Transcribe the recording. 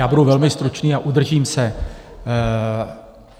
Já budu velmi stručný a udržím se.